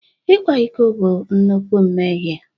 Ịkwa iko bụ nnukwu mmehie